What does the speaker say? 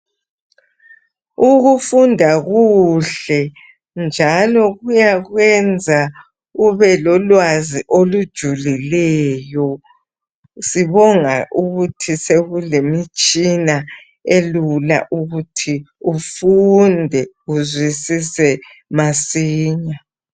Ukufunda kuhle njalo kuyakwenza ube lolwazi olujulileyo. Sibonga ukuthi sekulemitshina elula ukuthi ufunde uzwisise masinya.